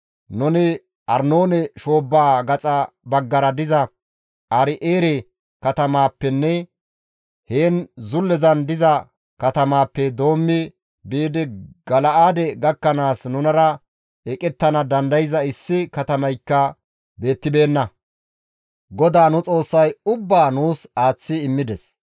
Nuni Arnoone shoobbaa gaxa baggara diza Aaro7eere katamaappenne heen zullezan diza katamaappe doommi biidi Gala7aade gakkanaas nunara eqettana dandayza issi katamaykka beettibeenna. GODAA nu Xoossay ubbaa nuus aaththi immides.